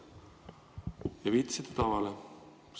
Te viitasite tavale.